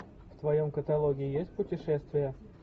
в твоем каталоге есть путешествия